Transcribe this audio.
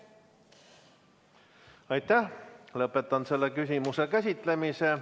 Lõpetan selle küsimuse käsitlemise.